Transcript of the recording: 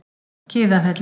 Kiðafelli